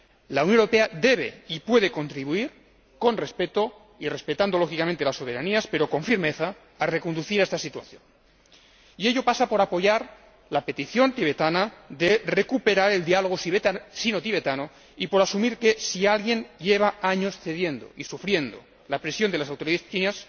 La Unión Europea debe y puede contribuir respetando, lógicamente, las soberanías, pero con firmeza, a reconducir esta situación. Ello pasa por apoyar la petición tibetana de recuperar el diálogo chinotibetano y por asumir que si alguien lleva años cediendo y sufriendo la presión de las autoridades chinas